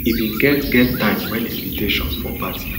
e bin get get time wen invitation for party